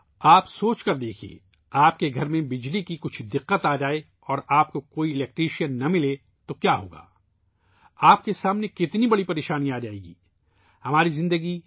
آپ سوچیئے اور دیکھیئے ، اگر آپ کے گھر میں بجلی کا کوئی مسئلہ ہے اور آپ کو کوئی الیکٹریشن نہیں ملتا تو کیا ہوگا؟ آپ کو کتنا بڑا مسئلہ درپیش ہوگا